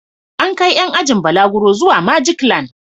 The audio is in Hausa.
An kai ƴan ajin balaguro zuwa Majiklan.